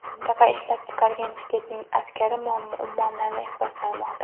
Mintaqa ishlab chiqargan chiqitning aksari ummonlarni ifloslamoqda.